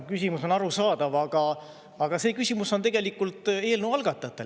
Küsimus on arusaadav, aga see küsimus on tegelikult eelnõu algatajatele.